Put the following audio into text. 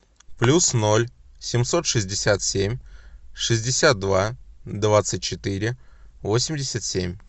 плюс ноль семьсот шестьдесят семь шестьдесят два двадцать четыре восемьдесят семь